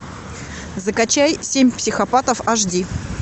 закачай семь психопатов аш ди